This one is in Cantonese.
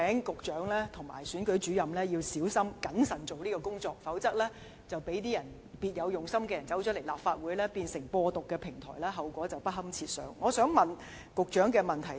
局長及選舉主任必須小心謹慎推行相關工作，以防別有用心的人士進入立法會，將本會變成"播獨"平台，否則後果將會不堪設想。